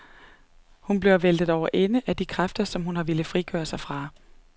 Hun bliver væltet over ende af de kræfter, hun har villet frigøre sig fra.